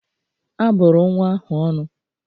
A bụrụ nwa ahụ ọnụ